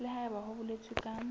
le haebe ho boletswe ka